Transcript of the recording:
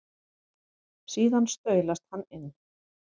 Síðan staulast hann inn.